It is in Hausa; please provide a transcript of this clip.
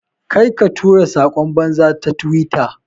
Ƙarka tura sakon banza ta twitter.